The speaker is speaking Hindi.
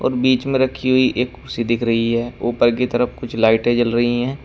और बीच में रखी हुई एक कुर्सी दिख रही है ऊपर की तरफ कुछ लाइटें जल रही हैं।